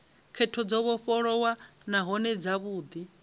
khetho dzo vhofholowaho nahone dzavhudi